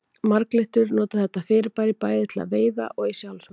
Marglyttur nota þetta fyrirbæri bæði til veiða og í sjálfsvörn.